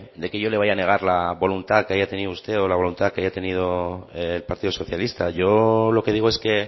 de que yo le vaya a negar la voluntad que haya tenido usted o la voluntad que haya tenido el partido socialista yo lo que digo es que